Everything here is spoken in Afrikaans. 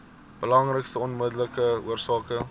belangrikste onmiddellike oorsake